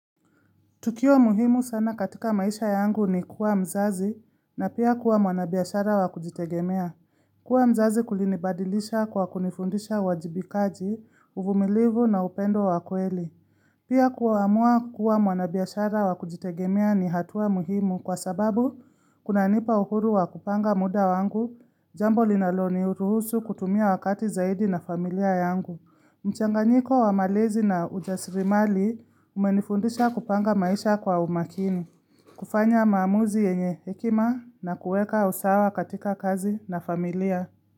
Tukio muhimu sana katika maisha yangu ni kuwa mzazi na pia kuwa mwanabiashara wa kujitegemea. Kuwa mzazi kulinibadilisha kwa kunifundisha uwajibikaji, uvumilivu na upendo wa kweli. Pia kuamua kuwa mwanabiashara wa kujitegemea ni hatua muhimu kwa sababu kuna nipa uhuru wa kupanga muda wangu, jambo linalo niruhusu kutumia wakati zaidi na familia yangu. Mchanganyiko wa malezi na ujasirimali umenifundisha kupanga maisha kwa umakini. Kufanya maamuzi yenye hekima na kueka usawa katika kazi na familia.